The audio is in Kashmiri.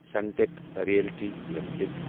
Sunteck Realty limited